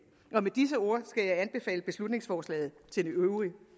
med disse ord skal jeg anbefale beslutningsforslaget til det øvrige